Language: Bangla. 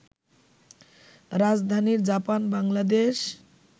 রাজধানীর জাপান-বাংলাদেশ